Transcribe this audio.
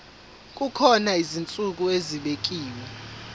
kukhona izinsuku ezibekiwe